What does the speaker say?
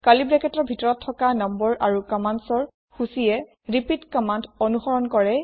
curly ব্ৰেকেটৰ ভিতৰত থকা নং আৰু কম্মান্দৰ সূচীয়ে ৰিপিট কম্মান্দ অনুসৰণ কৰে